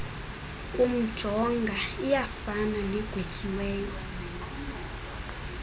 kumjonga iyafana negwetyiweyo